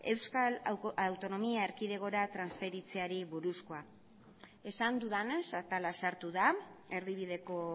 euskal autonomia erkidegora transferentziari buruzkoa esan dudanez atala sartu da erdibideko